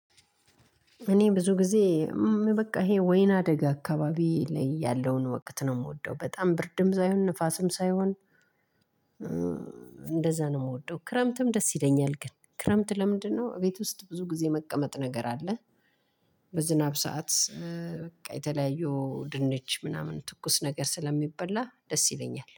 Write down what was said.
እኔ ብዙ ጊዜ በቃ ይሄ ወይን አደጋ አካባቢ ላይ ያለውን ወቅት ነው የምወደው በጣም ብርድም ሳይሆን ንፋስም ሳይሆን እንደዛ ነው የምወደው። ክረምትም ደስ ይለኛል ግን ክረምት ለምንድነው? ቤት ውስጥ ብዙ ጊዜ መቀመጥ ነገር አለ። በዝናብ ሰዓት በቃ የተለያየው ድንች ምናምን ትኩስ ነገር ስለሚበላ ደስ ይለኛል